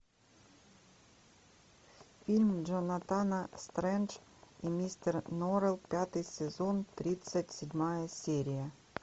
фильм джонатан стрендж и мистер норрелл пятый сезон тридцать седьмая серия